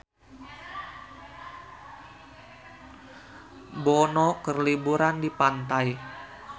Bono keur liburan di pantai